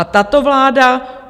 A tato vláda?